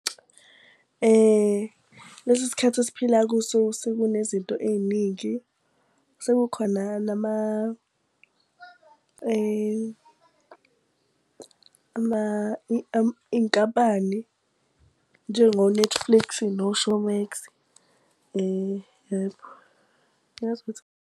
Lesi sikhathi esiphila kuso sekune izinto ey'ningi, sekukhona nama iy'nkampani njengo-Netflix no-Showmax yebo. Uyazi ukuthi .